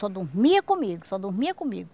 Só dormia comigo, só dormia comigo.